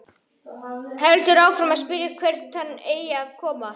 Heldur áfram að spyrja hvert hann eigi að koma.